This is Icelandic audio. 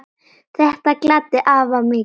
Þetta gladdi afa mikið.